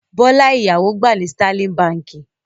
Bọ́lá ìyàwó gbà ní Sterling Báńkì.